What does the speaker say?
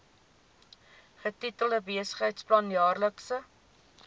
getitel besigheidsplan jaarlikse